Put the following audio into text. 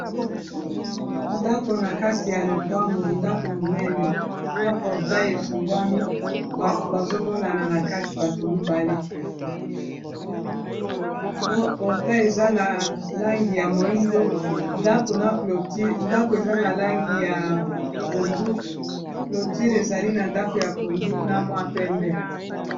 Ndako na kati ya lopango ndako monene, na portail efungwami bato bazo monana na kati bato mibale. Portail eza na langi ya moyindo, ndako eza na langi ya pondu, cloture ezali na ndako ya pondu na mwa pembe.